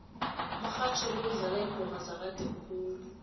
umrhatjho lo udlala iingoma zakade khulu